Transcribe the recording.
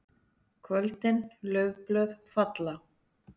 KVÖLDIN LAUFBLÖÐ FALLA.